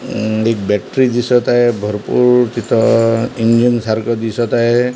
अह एक बॅटरी दिसत आहे भरपूर तिथं इंजिन सारखं दिसतं आहे.